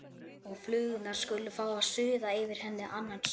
Og flugurnar skulu fá að suða yfir henni annan söng.